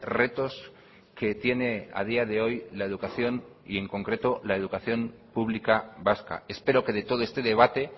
retos que tiene a día de hoy la educación y en concreto la educación pública vasca espero que de todo este debate